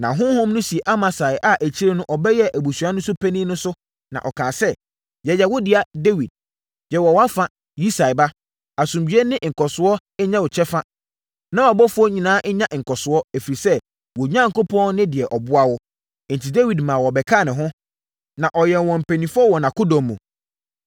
Na honhom no sii Amasai a akyire no ɔbɛyɛɛ Aduasa no so panin no so, na ɔkaa sɛ, “Yɛyɛ wo dea, Dawid! Yɛwɔ wʼafa, Yisai ba; Asomdwoeɛ ne nkɔsoɔ nyɛ wo kyɛfa na wʼaboafoɔ nyinaa nnya nkɔsoɔ, ɛfiri sɛ, wo Onyankopɔn ne deɛ ɔboa wo.” Enti, Dawid maa wɔbɛkaa ne ho, na ɔyɛɛ wɔn mpanimfoɔ wɔ nʼakodɔm mu.